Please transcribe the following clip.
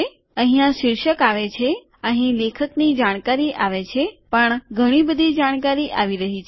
અહીંયા શીર્ષક અહીં આવે છે અહીં લેખકની જાણકારી આવે છે પણ ઘણી બધી જાણકારી આવી રહી છે